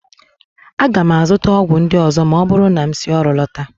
Aga m azụta ọgwụ ndị ọzọ ma ọ bụrụ na m si ọrụ lọta